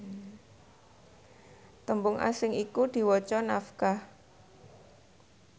tembung asing iku diwaca nafkah